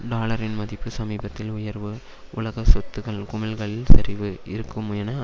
டாலரின் மதிப்பு சமீபத்தில் உயர்வு உலக சொத்துகள் குமிழ்களில் சரிவு இருக்கும் என